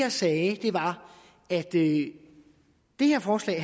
jeg sagde var at det her forslag